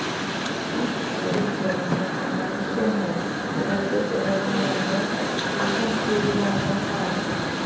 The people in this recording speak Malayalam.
ഈ സ്ഥലങ്ങളിൽ ജനങ്ങൾ അനാവശ്യമായി പുറത്ത് ഇറങ്ങുവാനോ കൂട്ടം കൂടുവാനോ പാടില്ല